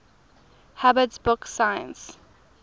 hubbard's book 'science